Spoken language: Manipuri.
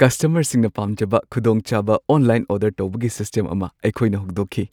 ꯀꯁꯇꯃꯔꯁꯤꯡꯅ ꯄꯥꯝꯖꯕ ꯈꯨꯗꯣꯡꯆꯥꯕ ꯑꯣꯟꯂꯥꯏꯟ ꯑꯣꯔꯗꯔ ꯇꯧꯕꯒꯤ ꯁꯤꯁꯇꯦꯝ ꯑꯃ ꯑꯩꯈꯣꯏꯅ ꯍꯧꯗꯣꯛꯈꯤ ꯫